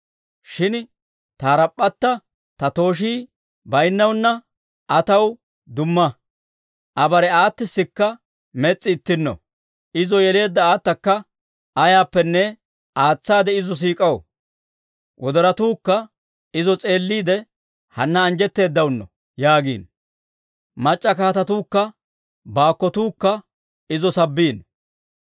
Shin ta harap'p'atta, ta tooshii bayinnaana, Aa taw dumma. Aa bare aatissikka mes's'i ittinno; izo yeleedda aatakka ayaappenne aatsaade izo siik'aw. Wodorotuukka izo s'eelliide, Hanna anjjetteedaano yaagiino. Mac'c'a kaatetuukka baakkotuukka izo sabbiino.